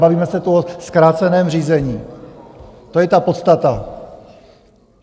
Bavíme se tu o zkráceném řízení, to je ta podstata.